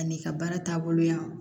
Ani i ka baara taabolo yan